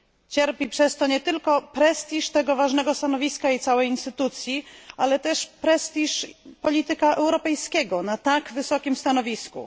Cierpi przez to nie tylko prestiż tego ważnego stanowiska i całej instytucji, ale także prestiż polityka europejskiego na tak wysokim stanowisku.